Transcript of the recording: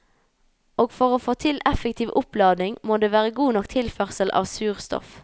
Og for å få til effektiv oppladning, må det være god nok tilførsel av surstoff.